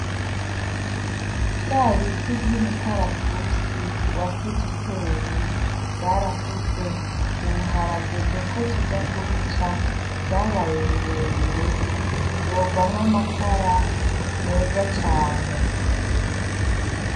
Vyabiti vyumukaratusi wasize wateye vyarakuze ubu haragezeko tuja kibica vyabaye birebire vyovamwo amakara meza cane .